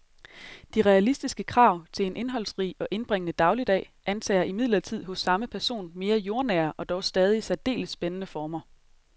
De realistiske krav til en indholdsrig og indbringende dagligdag antager imidlertid hos samme person mere jordnære og dog stadig særdeles spændende former.